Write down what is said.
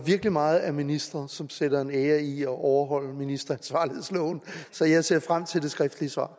meget af ministeren som sætter en ære i at overholde ministeransvarlighedsloven så jeg ser frem til det skriftlige svar